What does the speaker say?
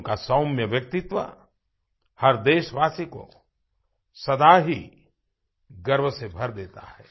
उनका सौम्य व्यक्तित्व हर देशवासी को सदा ही गर्व से भर देता है